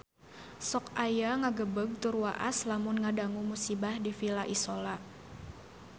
Sok asa ngagebeg tur waas lamun ngadangu musibah di Villa Isola